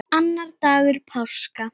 Annar dagur páska.